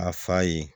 A fa ye